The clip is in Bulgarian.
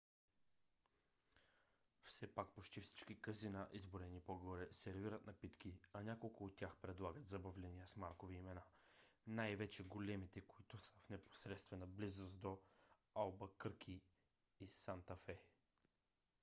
все пак почти всички казина изброени по-горе сервират напитки а няколко от тях предлагат забавления с маркови имена най-вече големите които са в непосредствена близост до албъкърки и санта фе